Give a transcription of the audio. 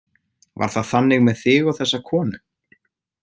Var það þannig með þig og þessa konu?